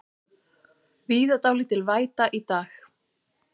Víða dálítil væta í dag